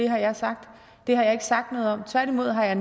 har sagt det har jeg ikke sagt noget om tværtimod har